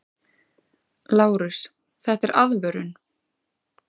LÁRUS: Þetta er aðvörun!